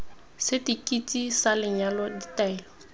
seti keiti sa lenyalo ditaelo